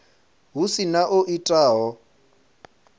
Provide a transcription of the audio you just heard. hu si na o itaho